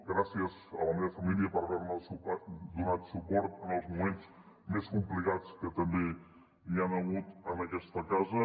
gràcies a la meva família per haver me donat suport en els moments més complicats que també n’hi han hagut en aquesta casa